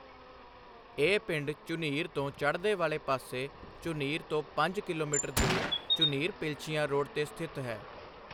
ਇਹ ਪਿੰਡ ਝੁਨੀਰ ਤੋੋਂ ਚੜ੍ਹਦੇੇ ਵਾਲੇ ਪਾਸੇੇ ਝੁਨੀਰ ਤੋਂ ਪੰਜ ਕਿਲੋਮੀਟਰ ਦੂਰ ਝੁਨੀਰ ਪਿਲਛੀਆਂ ਰੋਡ ਤੇ ਸਥਿਤ ਹੈ।